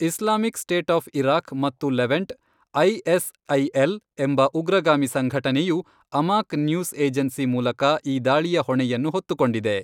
Islamic State of Iraq ಮತ್ತು Levant, ISIL ಎಂಬ ಉಗ್ರಗಾಮಿ ಸಂಘಟನೆಯು ಅಮಾಕ್ ನ್ಯೂಸ್ ಏಜೆನ್ಸಿ ಮೂಲಕ ಈ ದಾಳಿಯ ಹೊಣೆಯನ್ನು ಹೊತ್ತುಕೊಂಡಿದೆ.